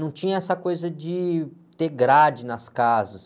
Não tinha essa coisa de ter grade nas casas.